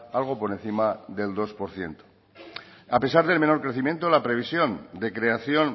algo por encima del dos por ciento a pesar del menor crecimiento la previsión de creación